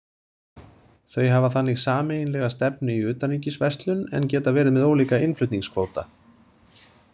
Þau hafa þannig sameiginlega stefnu í utanríkisverslun en geta verið með ólíka innflutningskvóta.